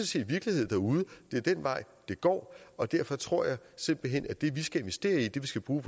set virkelighed derude det er den vej det går og derfor tror jeg simpelt hen at det vi skal investere i det vi skal bruge